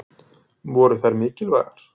Voru þær mikilvægar?